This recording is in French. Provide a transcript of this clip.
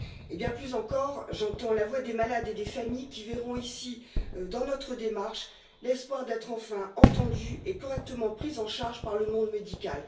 Bien plus encore, j'entends la voix des malades et des familles qui verront dans notre démarche l'espoir d'être enfin entendus et correctement pris en charge par le monde médical.